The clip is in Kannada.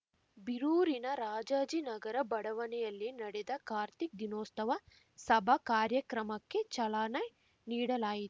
ಬೀರೂರಿನ ರಾಜಾಜಿನಗರ ಬಡವಣೆಯಲ್ಲಿ ನಡೆದ ಕಾರ್ತಿಕ ದೀನೋಸ್ತವ ಸಭಾ ಕಾರ್ಯಕ್ರಮಕ್ಕೆ ಚಲನೆ ನೀಡಲಾಯಿ